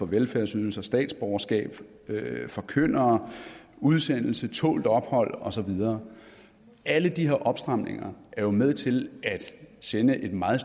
velfærdsydelser statsborgerskab forkyndere udsendelse tålt ophold og så videre alle de her opstramninger er jo med til at sende et meget